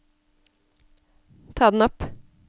ta den opp